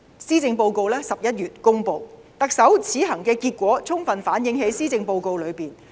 施政報告在11月公布，特首此行的結果充分反映在施政報告中。